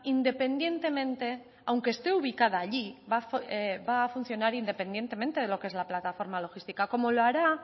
independientemente aunque esté ubicada allí va funcionar independientemente de lo que es la plataforma logística como lo hará